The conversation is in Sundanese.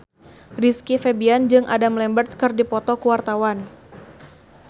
Rizky Febian jeung Adam Lambert keur dipoto ku wartawan